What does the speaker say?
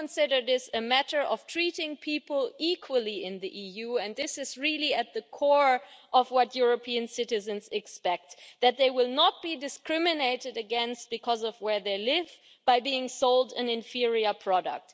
We consider this a matter of treating people equally in the EU, and this is at the core of what European citizens expect that they will not be discriminated against because of where they live by being sold an inferior product.